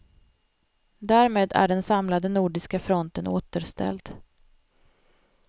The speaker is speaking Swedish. Därmed är den samlade nordiska fronten återställd.